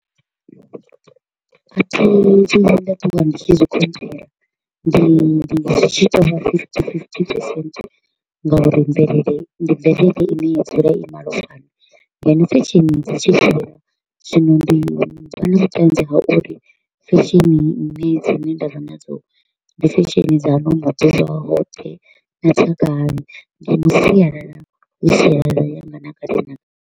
A thi vhuyi nda ṱuwa ndi tshi zwi controller, ndi ndi tshi tou vha fifty fifty percent ngauri mvelele ndi mvelele i ne ya dzula i malofhani. Ndi fashion dza tshi zwino ndi to u vha na vhutanzi ha uri fashion i ne dzine ndavha nadzo ndi fashion dza ano maḓuvha hoṱhe na dza kale. Ndi mu sialala ha sialala yanga na kale na kale.